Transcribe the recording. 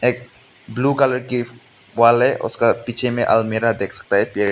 blue colour की wall है और उसका पीछे में एक अलमीरा देख सकते हैं पेड़--